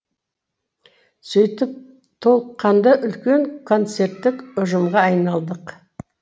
сөйтіп толыққанды үлкен концерттік ұжымға айналдық